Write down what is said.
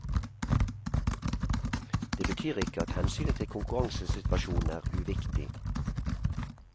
Det betyr ikke at hensynet til konkurransesituasjonen er uviktig.